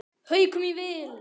Haukum í vil.